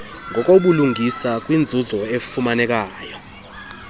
ngokobulungisa kwinzuzo efumaneka